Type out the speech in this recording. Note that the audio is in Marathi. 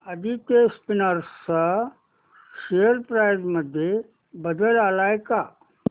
आदित्य स्पिनर्स शेअर प्राइस मध्ये बदल आलाय का